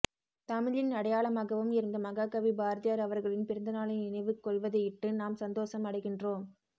தமிழின் அடையாளமாகவும் இருந்த மாககவி பாரதியார் அவர்களின் பிறந்த நாளை நினைவு கொள்வதையிட்டு நாம் சந்தோசம் அடைகின்றோம்